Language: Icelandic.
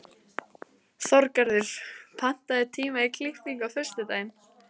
Þorgarður, pantaðu tíma í klippingu á föstudaginn.